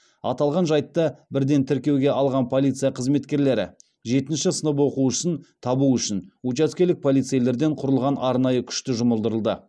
аталған жайтты бірден тіркеуге алған полиция қызметкерлері жетінші сынып оқушысын табу үшін учаскелік полицейлерден құралған арнайы күшті жұмылдырды